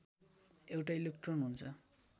एउटा इलेक्ट्रोन हुन्छ